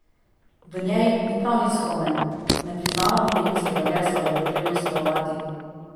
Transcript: V njej ni prav nič skromen: 'Ne priznavam olimpijskega gesla, da je pomembno sodelovati.